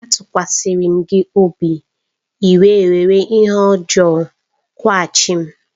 Atukwasirim gi obi, I wé were ihe ojo kwughachim.